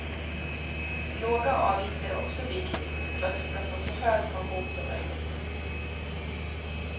Låga avgifter är också viktigt för att du ska få så hög pension som möjligt.